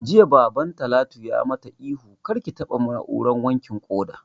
Jiya Baban Talatu ya mata ihu 'Kar ki taɓa na'urar wankin ƙoda'!